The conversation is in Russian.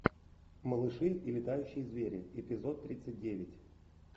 малыши и летающие звери эпизод тридцать девять